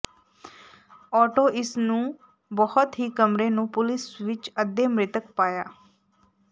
auto ਇਸ ਨੂੰ ਬਹੁਤ ਹੀ ਕਮਰੇ ਨੂੰ ਪੁਲਿਸ ਵਿਚ ਅੱਧੇ ਮ੍ਰਿਤਕ ਪਾਇਆ